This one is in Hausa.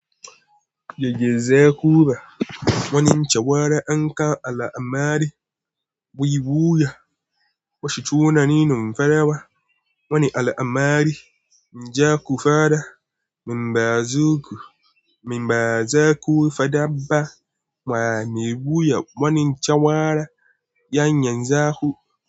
Jejje zai kura wani cawara an kawo al'amari. Buyi buya wasu tunanin farawa wani al'amari, njaku fada, min ba azu ku, min ba za ku fadabba. Waya me buya wani cawara. Yanyan zaku.